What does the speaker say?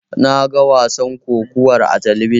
Naga wasan kokawar a talabijin.